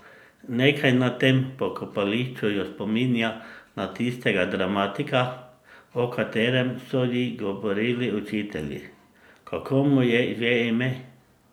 Nekaj na tem pokopališču jo spominja na tistega dramatika, o katerem so ji govorili učitelji, kako mu je že ime?